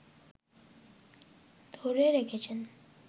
ধরে রেখেছেন